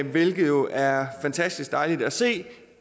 hvilket jo er fantastisk dejligt at se